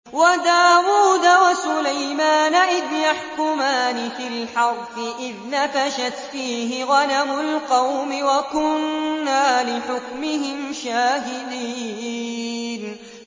وَدَاوُودَ وَسُلَيْمَانَ إِذْ يَحْكُمَانِ فِي الْحَرْثِ إِذْ نَفَشَتْ فِيهِ غَنَمُ الْقَوْمِ وَكُنَّا لِحُكْمِهِمْ شَاهِدِينَ